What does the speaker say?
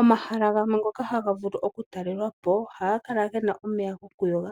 Omahala gamwe ngano haga vulu oku talelwa po ohaga kala gena omeya gokuyoga.